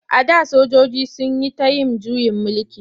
A da sojoji sun yi ta yin juyin mulki.